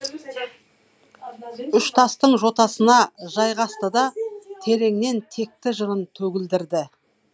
үштастың жотасына жайғасты да тереңнен текті жырын төгілдірді